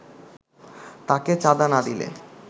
তাকে চাঁদা না দিলে